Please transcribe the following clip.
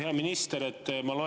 Hea minister!